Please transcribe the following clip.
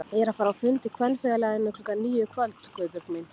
Ég er að fara á fund í Kvenfélaginu klukkan níu í kvöld Guðbjörg mín